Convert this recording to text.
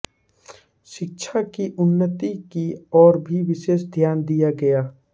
शिक्षा की उन्नति की ओर भी विशेष ध्यान दिया गया